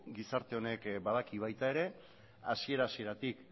gizarte honek badaki baita ere hasiera hasieratik